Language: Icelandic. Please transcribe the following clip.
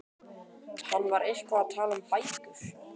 Hann var eitthvað að tala um bækur.